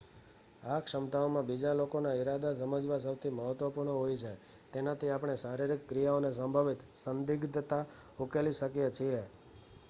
આ ક્ષમતાઓમાં બીજા લોકોના ઇરાદા સમજવા સૌથી મહત્ત્વપૂર્ણ હોય છે તેનાથી આપણે શારીરિક ક્રિયાઓની સંભવિત સંદિગ્ધતા ઉકેલી શકીએ છીએ